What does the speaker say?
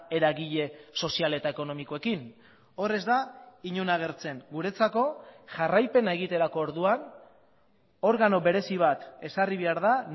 eragile sozial eta ekonomikoekin hor ez da inon agertzen guretzako jarraipena egiterako orduan organo berezi bat ezarri behar da